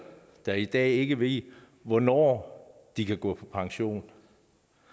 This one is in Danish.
der i dag ikke ved hvornår de kan gå på pension